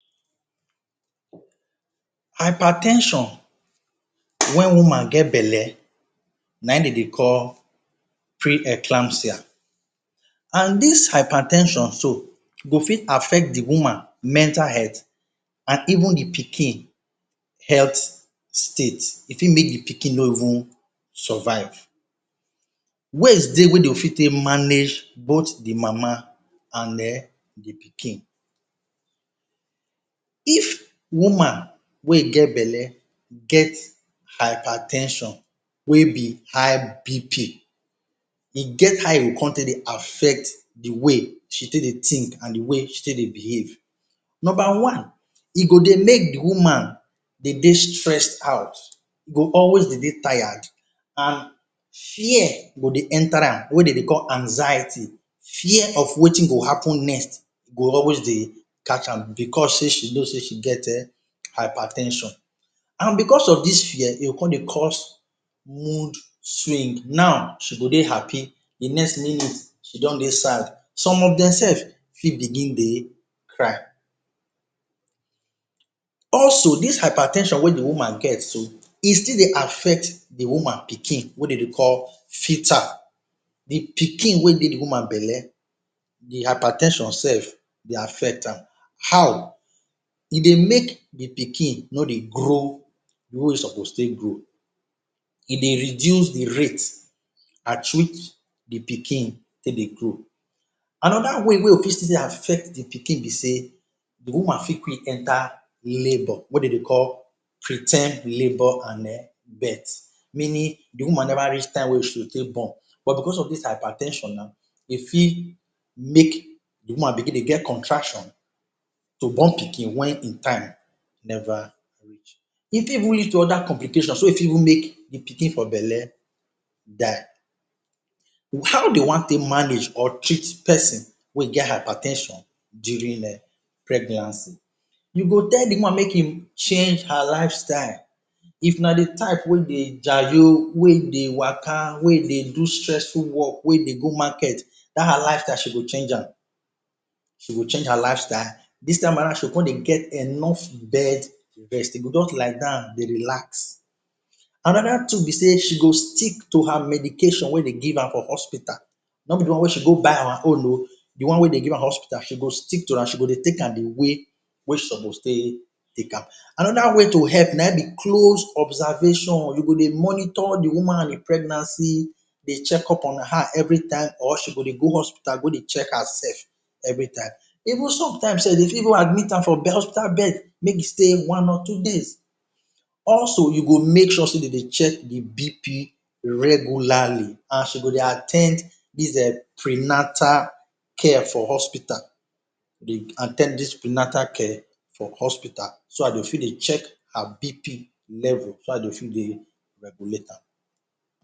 Hyper ten sion wen woman get belle, na ein de dey call pre-eclampsia. An dis hyper ten sion so go fit affect the woman mental health an even the pikin health state. E fit make the pikin no even survive. Ways dey wey de fit take manage both the mama, and um the pikin If woman wey get belle get hyper ten sion wey be high BP, e get how e go con take dey affect the way she take dey think an the way she take dey behave. Nomba one, e go dey make the woman dey dey stressed out. E go always de dey tired. An fear go dey enter am wey de dey call anxiety. Fear of wetin go happen next go always dey catch am becos sey she know sey she get hyper ten sion An becos of dis fear, e go con dey cause mood swing. Now, she go dey happy, the next minute, she don dey sad Some of dem sef fit begin dey cry. Also, dis hyper ten sion wey the woman get so, e still dey affect the woman pikin wey de dey call. The pikin wey dey the woman belle, the hyper ten sion sef dey affect am. How? E dey make the pikin no dey grow the way e suppose take grow. E dey reduce the rate at which the pikin take dey grow. Another way wey e fit still dey affect the pikin be sey the woman fit quick enter labour wey de dey call pre ten d labour an um birth, meaning the woman never reach time wey she take born. But becos of this hyper ten sion now, e fit make the woman begin dey get contraction to born pikin wen ein time never reach. E fit even lead to other complications so e fit even make the pikin for belle die. How de wan take manage or treat peson wey get hyper ten sion during um pregnancy? You go tell the woman make im change her lifestyle. If na the type we dey jayo, wey dey waka, wey dey do stressful work, wey dey go market, dat her lifestyle, she go change am. She go change her lifestyle. Dis time around, she go con dey get enough bedrest. E go juz lie down, dey relax. Another tool be sey she go stick to her medication wey de give am for hospital, no be the one wey she go buy our own oh. The one wey de give am hospital, she go stick to am, she go dey take am the way wey suppose take take am. Another way to help na ein be close observation. You go dey monitor the woman pregnancy dey check up on her every time or she go dey go hospital go check hersef every time. Even sometime sef, dey fit even admit am for hospital bed make she stay one or two days. Also, you go make sure sey de dey check the BP regularly an she go dey at ten d dis um prenatal care for hospital, dey at ten d dis prenatal care for hospital so dat dey go fit dey check her BP level, so dat de go fit dey regulate am.